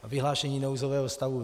Vyhlášení nouzového stavu.